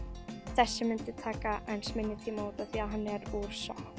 þessi myndi taka aðeins minni tíma út af því að hann er úr sokk